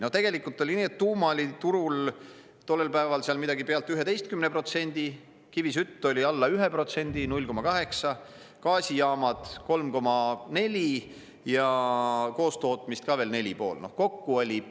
No tegelikult oli nii, et tuuma oli turul tollel päeval seal üle 11%, kivisütt oli alla 1%, 0,8%, gaasijaamad 3,4% ja koostootmist ka veel 4,5%.